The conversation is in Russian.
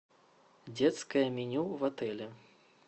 детское меню в отеле